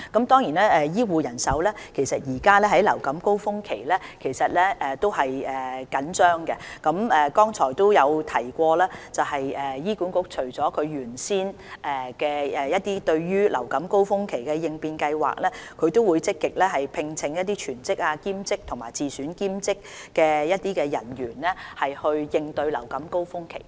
當然，目前是流感高峰期，醫護人手是緊張的，但我剛才也提及，醫管局除原先流感高峰期的應變計劃之外，也會積極聘請全職、兼職和自選兼職人員，應對流感高峰期。